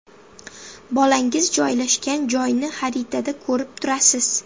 Bolangiz joylashgan joyni xaritada ko‘rib turasiz!